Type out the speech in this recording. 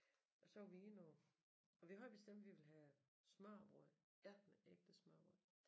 Og så var vi inde og og vi havde bestemt vi ville have smørrebrød noget ægte smørrebrød